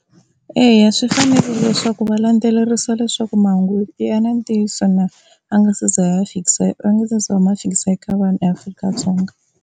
Eya swi fanerile leswaku va landzelerisa leswaku mahungu ya na ntiyiso na, va nga se za ya va fikisa va nga se za va ma fikisa eka vanhu eAfrika-Dzonga.